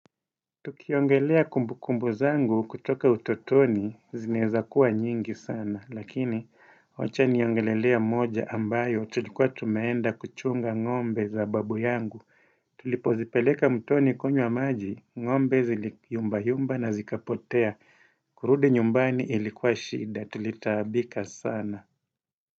Tukiongelea kumbu kumbu zangu kutoka utotoni zineza kuwa nyingi sana lakini wacha niongelelea moja ambayo tulikuwa tumeenda kuchunga ngombe za babu yangu tulipo zipeleka mtoni konywa maji ngombe zili yumbayumba na zikapotea kurudi nyumbani ilikuwa shida tulitaabika sana.